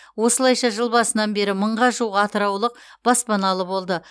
осылайша жыл басынан бері мыңға жуық атыраулық баспаналы болды